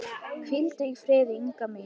Hvíldu í friði, Inga mín.